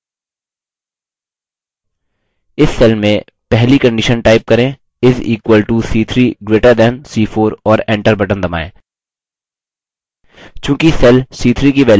इस cell में पहली condition type करें is equal to c3 greater than c4 और enter बटन दबाएँ